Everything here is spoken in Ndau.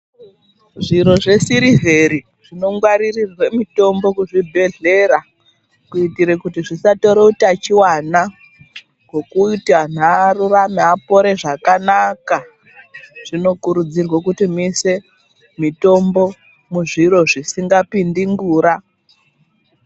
Zviro zvesirivheri zvinongwaririrwe mitombo kuzvibhedhlera kuitire kuti zvisatore utachiwana ngokuti antu arurame, apore zvakanaka, zvinokurudzirwa kuti muise mitombo muzviro zvisingapindi ngura.